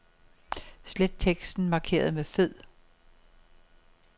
Slet teksten markeret med fed.